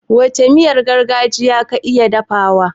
Wacce miyar gargajiya ka iya dafawa?